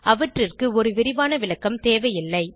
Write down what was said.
அவற்றிற்கு ஒரு விரிவான விளக்கம் தேவையில்லை